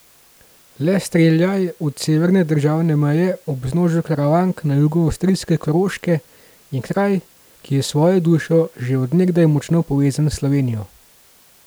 Le streljaj od severne državne meje, ob vznožju Karavank na jugu avstrijske Koroške, je kraj, ki je s svojo dušo že od nekdaj močno povezan s Slovenijo.